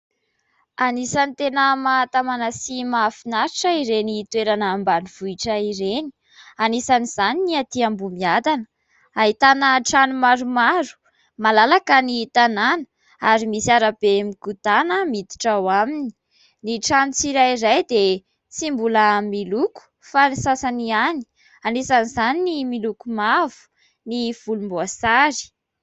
Anisan'ny tena mahatamana sy mahafinaritra ireny toerana ambanivohitra ireny, anisan'izany ny atỳ Ambohimiadana ahitana trano maromaro; malalaka ny tanàna ary misy arabe mikodana miditra ao aminy, ny trano tsirairay dia tsy mbola miloko fa ny sasany ihany anisan'izany ny miloko mavo, ny volom-boasary.